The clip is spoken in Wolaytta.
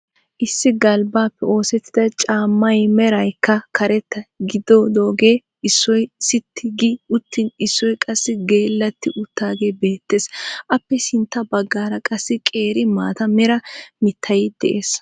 Issi galbbaappe osettida caammay meraykka karetta gididogee issoy sitti gi uttin issoy qassi geellatti uttagee beettees. appe sintta baggaara qassi qeeri mata mera mittay de'ees.